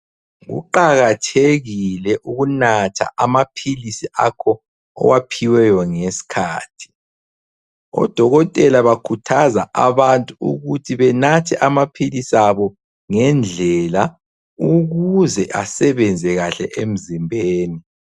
Kuqakathekile ukunatha amaphilisi akho owaphiweyo ngesikhathi. Odokotela bakhuthaza abantu ukuthi benathe amaphilisi abo ngendlela ukuze asebenze kahle emzimbeni.